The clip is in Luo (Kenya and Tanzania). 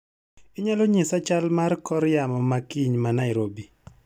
Inyalo nyisa chal mar kor yamo ma kiny ma Nairobi?